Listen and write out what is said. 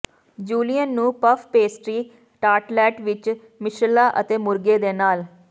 julienne ਨੂੰ puff pastry tartlet ਵਿੱਚ ਮਿਸ਼ਰਲਾਂ ਅਤੇ ਮੁਰਗੇ ਦੇ ਨਾਲ